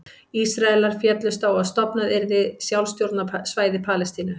Ísraelar féllust á að stofnað yrði sjálfstjórnarsvæði Palestínu.